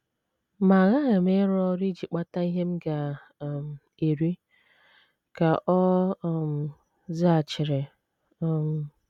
“ Ma aghaghị m ịrụ ọrụ iji kpata ihe m ga - um eri, ” ka ọ um zaghachiri um.